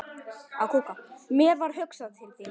Mér varð hugsað til þín.